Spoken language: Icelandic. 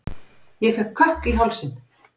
Ég fékk kökk í hálsinn.